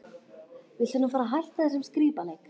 Viltu nú fara að hætta þessum skrípaleik!